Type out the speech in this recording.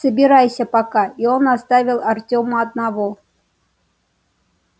собирайся пока и он оставил артёма одного